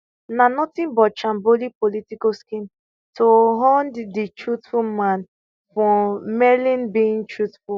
na nothing but shambolic political scheme to hound di truthful man for merely bein truthful